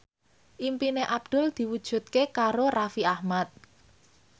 impine Abdul diwujudke karo Raffi Ahmad